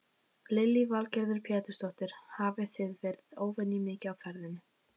Lillý Valgerður Pétursdóttir: Hafið þið verið óvenju mikið á ferðinni?